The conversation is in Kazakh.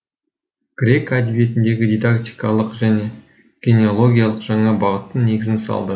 грек әдебиетіндегі дидактикалық және генеологиялық жаңа бағыттың негізін салды